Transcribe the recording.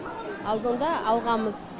алдында алғанбыз